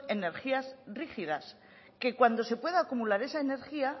energías rígidas que cuando se pueda acumular esa energía